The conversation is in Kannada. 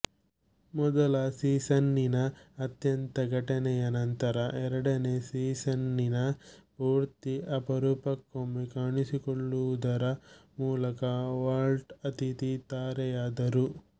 ಮೊದಲ ಸೀಸನ್ನಿನ ಅಂತ್ಯದ ಘಟನೆಯ ನಂತರ ಎರಡನೇ ಸೀಸನ್ನಿನ ಪೂರ್ತಿ ಅಪರೂಕ್ಕೊಮ್ಮೆ ಕಾಣಿಸಿಕೊಳ್ಳುವುದರ ಮೂಲಕ ವಾಲ್ಟ್ ಅತಿಥಿ ತಾರೆಯಾದರು